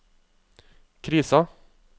krisa